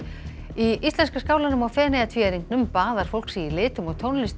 í íslenska skálanum á Feneyjatvíæringnum baðar fólk sig í litum og tónlist